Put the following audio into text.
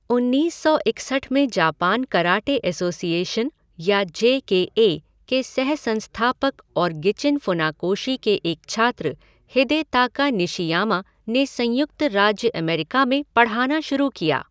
उन्नीस सौ इकसठ में जापान कराटे एसोसिएशन या जे के ए के सह संस्थापक और गिचिन फुनाकोशी के एक छात्र हिदेताका निशियामा ने संयुक्त राज्य अमेरिका में पढ़ाना शुरू किया।